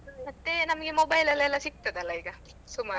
ಮತ್ತೆ ನಮ್ಗೆ mobile ಅಲ್ಲಿ ಎಲ್ಲ ಸಿಗ್ತದೆ ಅಲ್ಲ ಈಗ ಸುಮಾರು.